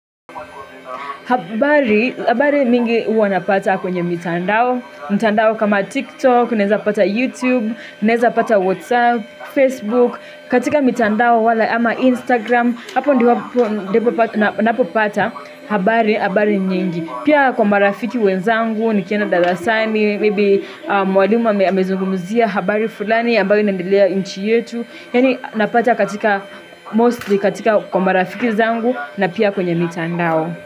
Habari mingi huwa napata kwenye mitandao, mitandao kama TikTok, naeza pata YouTube, neza pata WhatsApp, Facebook, katika mitandao wala ama Instagram, hapo ndipo napata habari, habari nyingi. Pia kwa marafiki wenzangu ni kienda darasani, maybe mwalimu amezungumzia habari fulani ambayo inendelea inchi yetu. Yani napata katika mostly katika kwa marafiki zangu na pia kwenye mitandao.